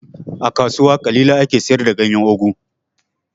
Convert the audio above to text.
A kasuwa ƙalilan ake siyar da ganyan ogu